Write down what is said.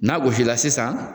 N'a gosili sisan